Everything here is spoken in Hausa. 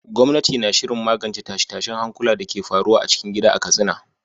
Gwamnati na shirin magance tashe-tashen hankula da ke faruwa a cikin gida a Katsina.